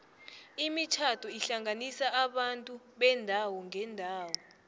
imitjhado ihlanganisa abantu beendawo ngeendawo